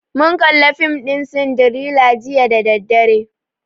Mun kalli fim ɗin sindirela jiya da daddare